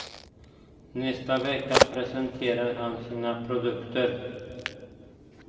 Nästa vecka presenterar han sina produkter.